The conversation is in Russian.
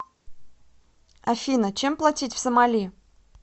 афина чем платить в сомали